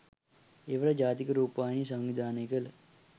එවර ජාතික රෑපවාහිනිය සංවිධානය කළ